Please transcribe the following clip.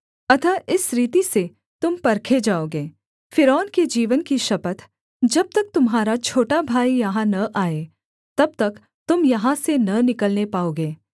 अतः इसी रीति से तुम परखे जाओगे फ़िरौन के जीवन की शपथ जब तक तुम्हारा छोटा भाई यहाँ न आए तब तक तुम यहाँ से न निकलने पाओगे